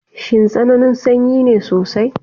Shin tsananin sanyi ne sosai?